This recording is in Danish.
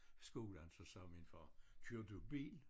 Skolen så sagde min far kører du bil